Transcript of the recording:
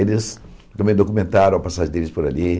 Eles também documentaram a passagem deles por ali.